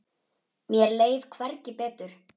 Mér leið hvergi betur.